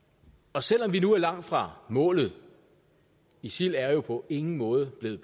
og selv om vi nu er langt fra målet isil er jo på ingen måde blevet